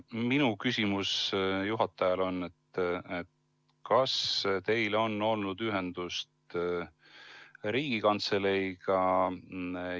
Minu küsimus juhatajale on see: kas teil on olnud ühendust Riigikantseleiga?